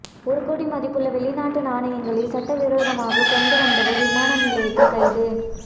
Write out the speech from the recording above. ஒரு கோடி மதிப்புள்ள வெளிநாட்டு நாணயங்களை சட்டவிரோதமாக கொண்டு வந்தவர் விமான நிலையத்தில் கைது